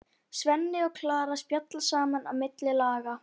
Svenni og Klara spjalla saman á milli laga.